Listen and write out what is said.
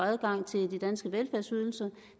adgang til de danske velfærdsydelser